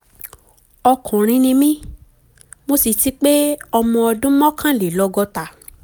ọkùnrin ni mí mo sì ti pé ọmọ ọdún mọ́kànlélọ́gọ́ta